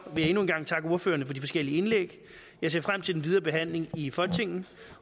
jeg endnu en gang takke ordførerne for de forskellige indlæg jeg ser frem til den videre behandling i folketinget